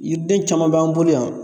Yiriden caman b'an bolo yan